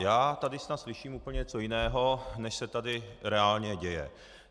Já tady snad slyším úplně něco jiného, než se tady reálně děje.